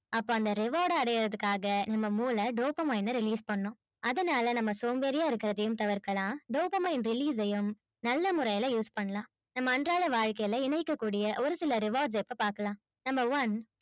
அப்ப அந்த reward அ அடையறதுக்காக நம்ம மூளை dopamine அ release பண்ணும் அதனால நம்ம சோம்பேறியா இருக்கிறதையும் தவிர்க்கலாம் dopamine release யும் நல்ல முறையில use பண்ணலாம் நம்ம அன்றாட வாழ்க்கையில இணைக்கக்கூடிய ஒரு சில rewards இப்ப பாக்கலாம் number one